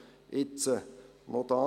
Jetzt noch Folgendes: